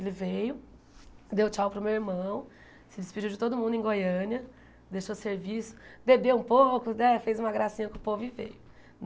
Ele veio, deu tchau para o meu irmão, se despediu de todo mundo em Goiânia, deixou o serviço, bebeu um pouco, né, fez uma gracinha com o povo e veio.